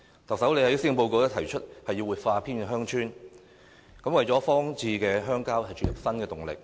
特首在施政報告提出活化偏遠鄉郊，為荒置的鄉郊注入新動力。